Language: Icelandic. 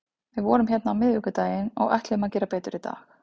Við vorum hérna á miðvikudaginn og ætluðum að gera betur í dag.